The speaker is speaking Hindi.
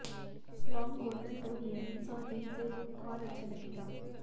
लॉन्ग गोल्डन टोन ईयररिंग्स और रिंग से लुक और अच्छा लगेगा